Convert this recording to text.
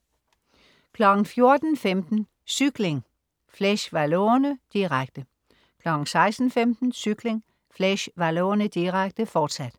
14.15 Cykling: Fleche Wallone, direkte 16.15 Cykling: Fleche Wallone, direkte. Fortsat